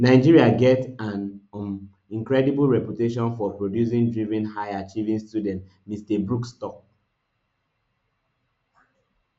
nigeria get an um incredible reputation for producing driven highachieving students mr brooks tok